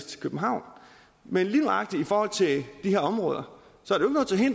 til københavn men lige nøjagtig i forhold til de her områder